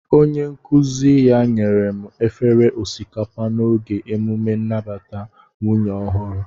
Onye nkuzi ya nyere m efere osikapa n'oge emume nnabata nwunye ọhụrụ